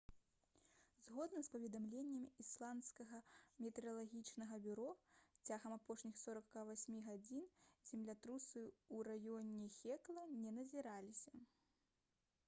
згодна з паведамленнем ісландскага метэаралагічнага бюро цягам апошніх 48 гадзін землятрусы ў раёне хекла не назіраліся